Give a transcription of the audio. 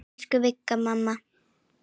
Elsku Vigga mamma.